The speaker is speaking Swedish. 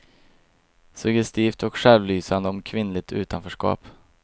Suggestivt och självlysande om kvinnligt utanförskap.